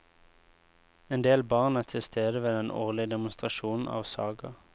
En del barn er til stede ved den årlige demonstrasjonen av saga.